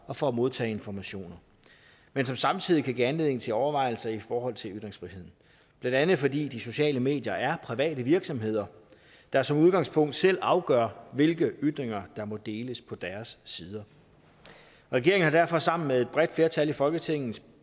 og for at modtage informationer men som samtidig kan give anledning til overvejelser i forhold til ytringsfriheden blandt andet fordi de sociale medier er private virksomheder der som udgangspunkt selv afgør hvilke ytringer der må deles på deres sider regeringen har derfor sammen med et bredt flertal af folketingets